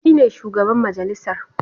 Shi ne shugaban majalisar.